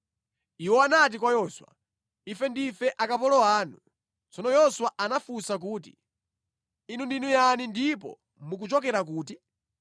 Iwo anati kwa Yoswa, “Ife ndife akapolo anu.” Tsono Yoswa anawafunsa kuti, “Inu ndinu yani ndipo mukuchokera kuti?”